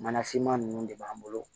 Mana finman nunnu de b'an bolo